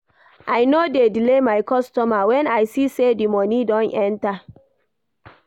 I no dey delay my customer wen I see sey di moni don enta.